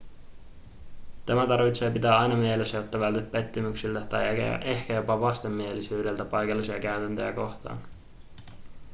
tämä tarvitsee pitää aina mielessä jotta vältyt pettymyksiltä tai ehkä jopa vastenmielisyydeltä paikallisia käytäntöjä kohtaan